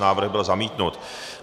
Návrh byl zamítnut.